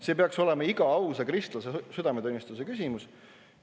See peaks olema iga ausa kristlase südametunnistuse küsimus.